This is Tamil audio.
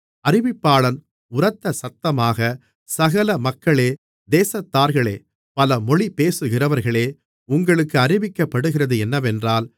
அறிவிப்பாளன் உரத்த சத்தமாக சகல மக்களே தேசத்தார்களே பல மொழி பேசுகிறவர்களே உங்களுக்கு அறிவிக்கப்படுகிறது என்னவென்றால்